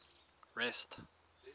rest